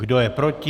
Kdo je proti?